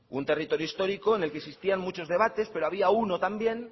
un territorio histórico en el que existían muchos debates pero había uno también